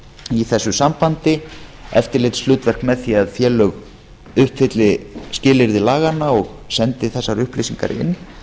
í þessu sambandi eftirlitshlutverk með því að félög uppfylli skilyrði laganna og sendi þessar upplýsingar inn